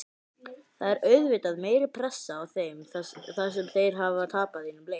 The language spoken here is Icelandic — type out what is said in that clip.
Það er auðvitað meiri pressa á þeim þar sem þeir hafa tapað einum leik.